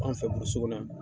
An fɛ kɔnɔ yan.